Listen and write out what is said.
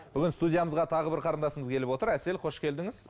бүгін студиямызға тағы бір қарындасымыз келіп отыр әсел қош келдіңіз